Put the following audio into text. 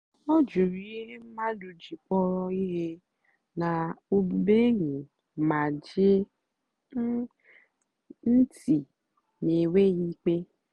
ọ jụ̀rù ihe mmadụ́ jì kpọ̀rọ́ ihe na ọ́bụ́bụ́ényì mà gèè ntị́ n'ènwèghị́ ìkpè.